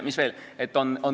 Mis veel?